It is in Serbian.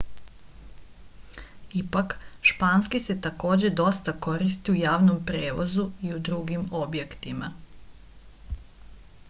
ipak španski se takođe dosta koristi u javnom prevozu i u drugim objektima